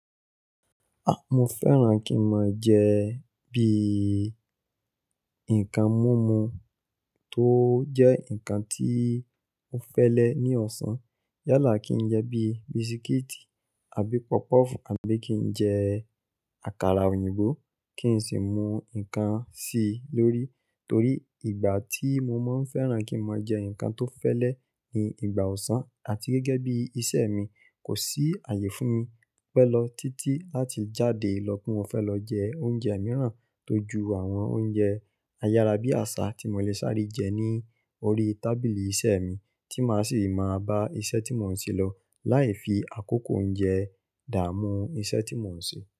Mo fẹ́ràn kí n máa jẹ bí i nǹkan mumu tó jẹ́ nǹkan tí o fẹ́lẹ́ ní ọ̀sán. Yálà kí n jẹ bíi bísíkítì àbí pọ́pọ̀fù àbí kí n jẹ àkàrà òyìnbó kí n sì mú nǹkan si lórí. Torí ìgbà tí mo máa ń fẹ́ràn kí n máa jẹ nǹkan tó fẹ́ lè ni ìgbà ọ̀sán àti gẹ́gẹ́ bí iṣẹ́ mi, kò sí ààyè fún mi pẹ́ lọ títí láti jáde lọ pé mo fẹ́ lọ jẹ oúnjẹ mìíràn tójú àwọn oúnjẹ ayárabíàṣà tí mo lè sáré jẹ ní orí tábìlì iṣẹ́ mi tí ma sì bá iṣẹ́ tí mo ń ṣe lọ láìfi akoko oúnjẹ dàmú iṣẹ́ tí mo ń ṣe.